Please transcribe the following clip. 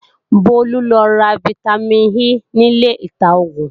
Bólú lọ ra fítámìn E nílé ìta-oògùn